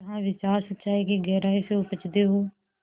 जहाँ विचार सच्चाई की गहराई से उपजतें हों